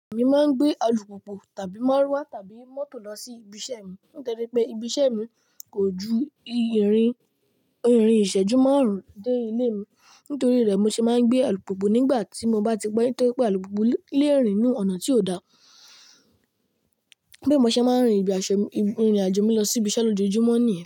Èmi máa ń gbé alùpùpù tàbí márúwá tàbí mọ́tò lọ sí ibi iṣẹ́ mi nítorí pé ibi iṣẹ́ mi kò ju irin ìrìn ìṣẹ́jú márùn-ún dé ilé mi. Nítorí rẹ̀, mo ṣe máa ń gbé alùpùpù nígbà tí mo bá ti pẹ́ nítorí pé alùpùpù léè rìn ú ọ̀nà tí ò dá. Bì mo ṣe máa ń rin ìrìnàjò mi lọ sí ibi iṣẹ́ lójoojúmọ́ nìyẹn.